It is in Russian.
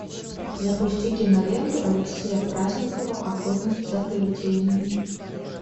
запусти киноленту алексея праздникова охотники за привидениями